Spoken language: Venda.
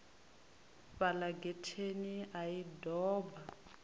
fhala getheni a i doba